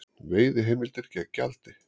Veiðiheimildir gegn gjaldi